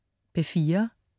P4: